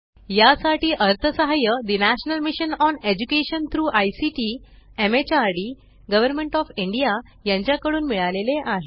यासाठी अर्थसहाय्य ठे national mission on education through ICT MHRD government of India यांच्या कडून मिळाले आहे